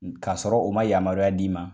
N ka sɔrɔ u ma yamaruya d'i ma.